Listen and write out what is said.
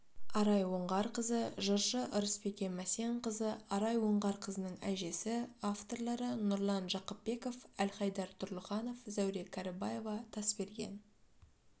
арай оңғарқызы жыршы ырысбике мәсенқызы арай оңғарқызының әжесі авторлары нұрлан жақыпбеков әлхайдар тұрлыханов зәуре кәрібаева тасберген